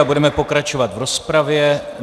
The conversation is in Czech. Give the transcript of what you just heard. A budeme pokračovat v rozpravě.